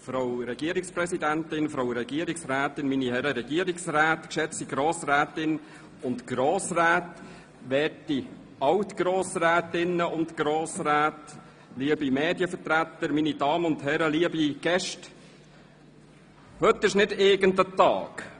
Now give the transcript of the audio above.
Frau Regierungspräsidentin, Frau Regierungsrätin, meine Herren Regierungsräte, geschätzte Grossrätinnen und Grossräte, werte Alt-Grossrätinnen und -Grossräte, liebe Medienvertreterinnen und -vertreter, meine Damen und Herren, liebe Gäste, heute ist nicht irgend ein Tag.